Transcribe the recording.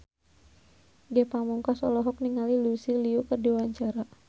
Ge Pamungkas olohok ningali Lucy Liu keur diwawancara